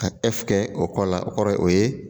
Ka kɛ o kɔ la, o kɔrɔ ye o ye